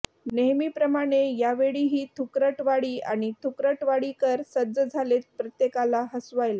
नेहमीप्रमाणे यावेळीही थुकरटवाडी आणि थुकरटवाडीकर सज्ज झालेत प्रत्येकाला हसवायला